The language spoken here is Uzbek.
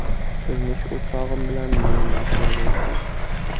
Turmush o‘rtog‘im bilan meni mashinaga o‘tqizishdi.